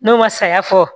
N'o ma saya fɔ